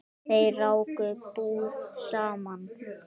Þau ráku búð saman.